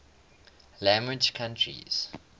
language countries